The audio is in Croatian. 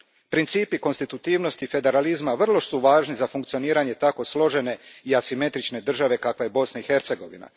Principi konstitutivnosti federalizma vrlo su važni za funkcioniranje tako složene i asimetrične države kakva je Bosna i Hercegovina.